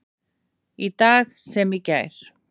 Í dag sem í gær.